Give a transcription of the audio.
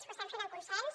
ho estem fent amb consens